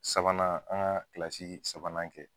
Sabanan an ka sabanan kɛ.